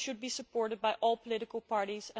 They should be supported by all political parties.